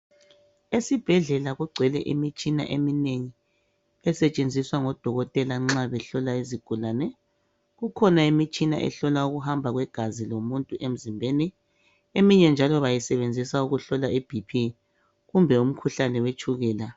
Esibhedlela kugcwele imitshina eminengi esetshenziswa ngodokotela nxa behlola izigulani. Kukhona imitshina ehlola ukuhamba kwegazi emzimbeni, eminye njalo bayisebenzisa ukuhlola ibp kumbe umkhuhlane wetshukela.